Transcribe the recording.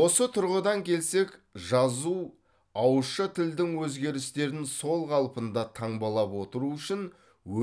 осы тұрғыдан келсек жазу ауызша тілдің өзгерістерін сол қалпында таңбалап отыру үшін